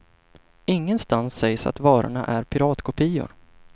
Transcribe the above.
Ingenstans sägs att varorna är piratkopior.